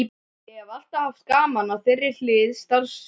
Ég hef alltaf haft gaman af þeirri hlið starfsins.